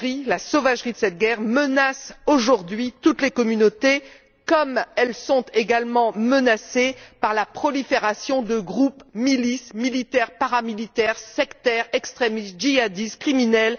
La sauvagerie de cette guerre menace aujourd'hui toutes les communautés comme elles sont également menacées par la prolifération de groupes, milices, militaires, paramilitaires, sectaires, extrémistes, djihadistes, criminels...